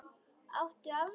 Áttu afmæli?